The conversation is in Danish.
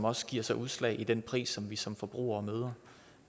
også giver sig udslag i den pris som vi som forbrugere møder